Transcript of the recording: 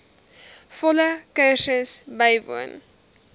volle kursus bywoon